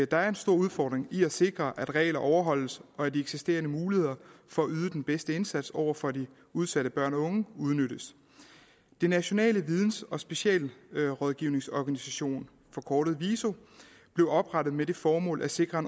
der er en stor udfordring i at sikre at regler overholdes og at de eksisterende muligheder for at yde den bedste indsats over for de udsatte børn og unge udnyttes den nationale videns og specialrådgivningsorganisation forkortet viso blev oprettet med det formål at sikre